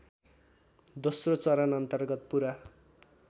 दोस्रो चरणअन्तर्गत पुरा